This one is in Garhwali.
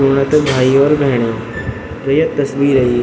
सुणा त भाई और भेणीयो जो ये तस्वीर ह यी --